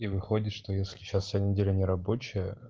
и выходит что если сейчас вся неделя нерабочая